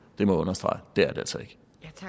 jeg må understrege at det er det altså ikke